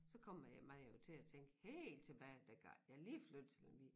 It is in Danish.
Så kommer jeg man jo til at tænke helt tilbage dengang jeg lige flyttede til Lemvig